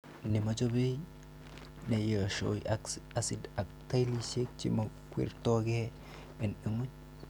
Nemachabai, neyeshoo aksid ak tailisiek chemokwerto gee en ngwony.